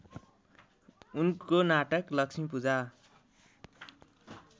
उनको नाटक लक्ष्मीपूजा